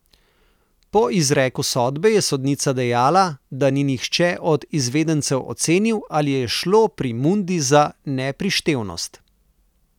Po izreku sodbe je sodnica dejala, da ni nihče od izvedencev ocenil, ali je šlo pri Mundi za neprištevnost.